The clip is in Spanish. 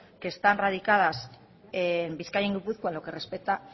que están radicas en bizkaia y gipuzkoa en lo que respecta a